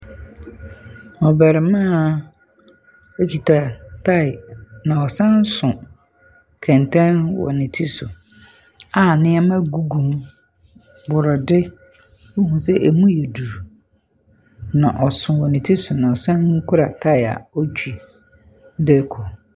Ɔberimmaa ekuta tae na ɔsan so kɛntɛn wo ne ti so a nnoɔma gugu mu; Brɔde wohu sɛ emu yɛ duru na ɔso wɔ ne ti so na ɔsan kura tire ɔretwi de rekɔ.